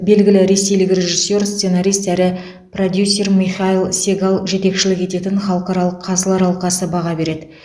белгілі ресейлік режиссер сценарист әрі продюсер михаил сегал жетекшілік ететін халықаралық қазылар алқасы баға береді